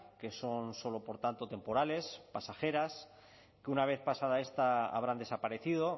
que son solo por tanto temporales pasajeras que una vez pasada esta habrán desaparecido